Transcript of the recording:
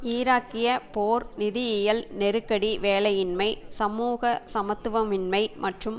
ஈராக்கிய போர் நிதியியல் நெருக்கடி வேலையின்மை சமூக சமத்துவமின்மை மற்றும்